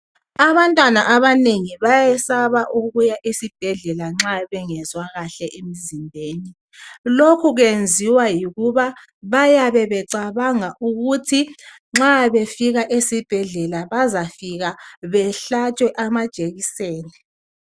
Abantwana abanengi bayesaba ukuya esibhedlela nxa bengezwa kahle emzimbeni lokhu kwenziwa yikuba bayabe becabanga ukuthi nxa befika esibhedlela bazafika behlatshwe amajekiseni.